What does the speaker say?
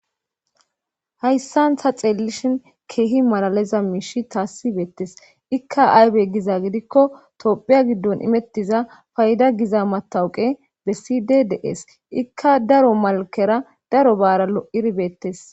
Hayssan tha xeellishin keehi malaleza miishi taasibeettes ikka aybe giza gidikko tophiya giddon imettiza fayda giza matawuqe bessi de dees ikka daro malkera daro baara lo'iribeettes